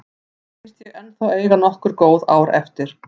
Mér finnst ég ennþá eiga nokkur góð ár eftir.